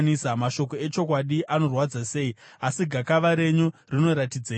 Mashoko echokwadi anorwadza sei! Asi gakava renyu rinoratidzeiko?